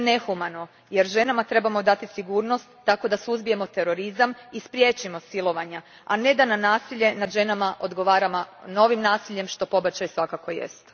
To je nehumano jer ženama trebamo dati sigurnost tako da suzbijemo terorizam i spriječimo silovanja, a ne da na nasilje nad ženama odgovaramo novim nasiljem, što pobačaj svakako jest.